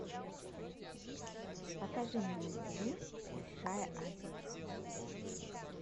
покажи мне на тв большая азия